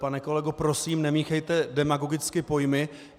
Pane kolego, prosím, nemíchejte demagogicky pojmy.